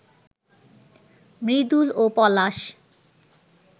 মৃদুল ও পলাশ